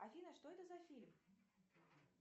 афина что это за фильм